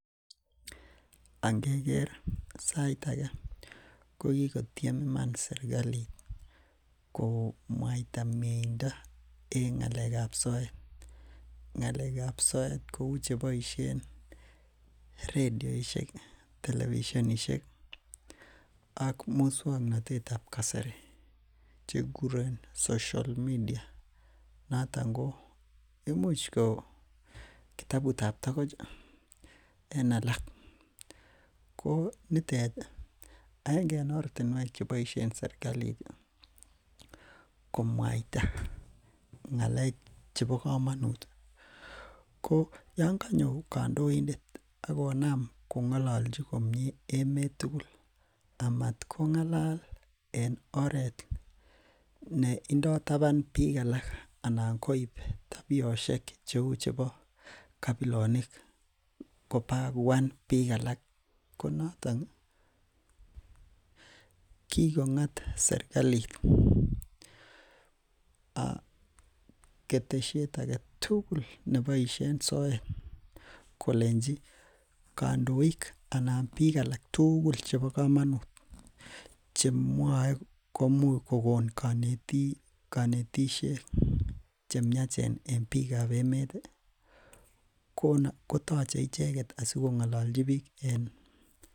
Angeker sait akee kokikotiem iman serikalit ko mwaita mieindo en ngalekab soet, ngalekab soet kouu cheboishen redioishek, televisionishek ak muswoknotetab kasari chekuren social media noton ko imuch ko kitabutab tokoch en alak, ko nitet akenge en ortinwek cheboishen serikalit komwaita, ngalek chebokomonut, ko yoon konyo kondoindet ak konam kong]ololchi komnye emet tukul amat kongalal en oreet neindo taban biik alak anan koib tabioshek cheu chebo kabilonik kobaa kobaguan biik alak, konoton kikong'at serkalit keteshiet aketukul neboishen soet kolenchi kondoik anan biik alak tukul chebokomonut chemwoe komuch kokon konetishet chemiachen en biikab emet kotoche icheket asikongololchi biik en.